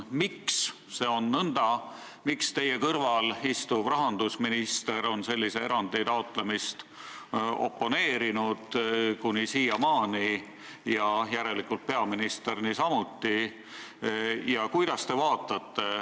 Miks see nõnda on, miks teie kõrval istuv rahandusminister on sellise erandi taotlemist kuni siiamaani oponeerinud ja järelikult peaminister niisamuti?